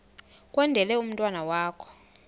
kwendele umntwana wakho